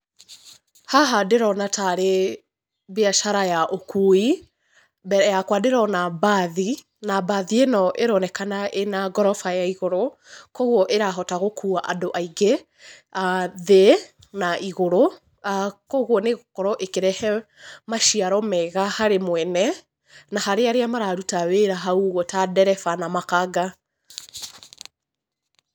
Haha ndĩrona ta rĩ mbiacara ya ũkui. Mbere yakwa ndĩrona mbathi, na mbathi ĩno ĩronekana ĩna ngoroba ya igũrũ, koguo ĩrahota gũkũa andũ aingĩ, thĩ na igũrũ, koguo nĩ ĩgũkorwo ĩkĩrehe maciaro mega harĩ mwene na harĩ arĩa mararuta wĩra haũ ũguo ta ndereba na makanga.